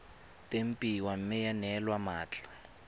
tempiwa mme ya neelwa mmatla